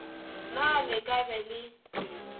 na le ka be le